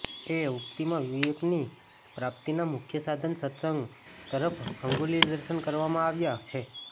એ ઉક્તિમાં વિવેકની પ્રાપ્તિના મુખ્ય સાધન સત્સંગ તરફ અંગુલિનિર્દેશ કરવામાં આવ્યો છે